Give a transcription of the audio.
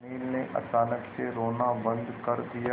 अनिल ने अचानक से रोना बंद कर दिया